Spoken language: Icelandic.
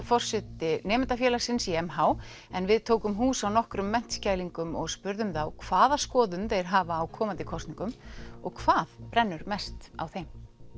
Liferink forseti nemendafélagsins í m h en við tókum hús á nokkrum menntskælingum og spurðum þá hvaða skoðun þeir hafa á komandi kosningum og hvað brennur mest á þeim